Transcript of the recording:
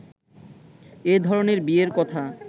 এ ধরণের বিয়ের কথা